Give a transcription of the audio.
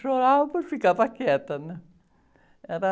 Chorava, ficava quieta, né? Era...